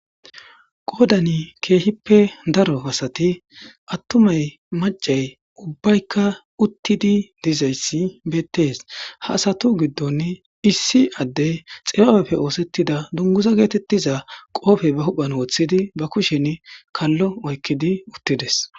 Qoodani keehippe daro pasati attumay macay ubbaykka uttidi dizayssi beettees ha asatu giddon issi adde xipaapeppe oosettida dunguza geetettiza qoofe ba huhphan woththidi ba kushen kallo oykkidi uttides,